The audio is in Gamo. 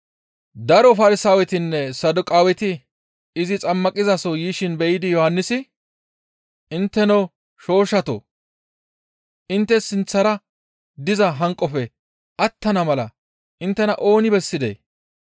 Daro Farsaawetinne Saduqaaweti izi xammaqizaso yishin be7idi Yohannisi, «Intteno shooshshatoo! Intte sinththara diza hanqofe attana mala inttena ooni bessidee?